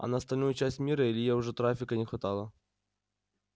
а на остальную часть мира илье уже трафика не хватало